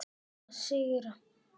Við hljótum að sigra